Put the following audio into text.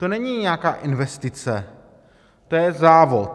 To není nějaká investice, to je závod.